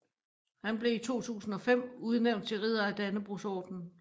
Han blev i 2005 udnævnt til ridder af Dannebrogordenen